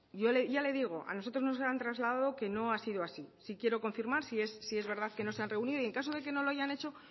ya le digo a nosotros nos han trasladado que no ha sido así sí quiero confirmar si es verdad que no se han reunido y en el caso de que no lo hayan hecho